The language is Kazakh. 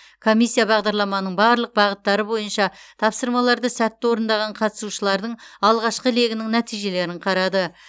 комиссия бағдарламаның барлық бағыттары бойынша тапсырмаларды сәтті орындаған қатысушылардың алғашқы легінің нәтижелерін қарады